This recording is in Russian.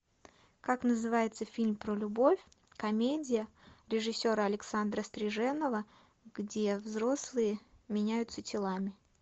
как называется фильм про любовь комедия режиссера александра стриженова где взрослые меняются телами